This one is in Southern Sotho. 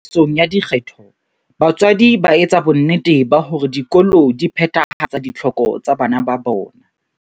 Ho nka karolo tsamaisong ya dikgetho, batswadi ba etsa bonnete ba hore dikolo di phethahatsa ditlhoko tsa bana ba bona.